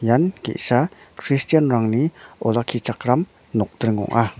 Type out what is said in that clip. ian ge·sa kristianrangni olakkichakram nokdring ong·a.